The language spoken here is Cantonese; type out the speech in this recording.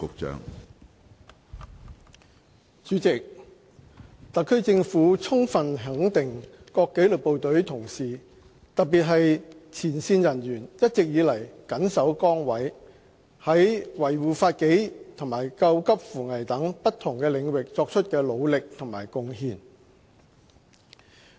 主席，特區政府充分肯定各紀律部隊同事，特別是前線人員一直以來緊守崗位，在維護法紀和救急扶危等不同領域所作的努力和貢獻。